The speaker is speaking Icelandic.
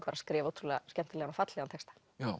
skrifa ótrúlega skemmtilegan og fallegan texta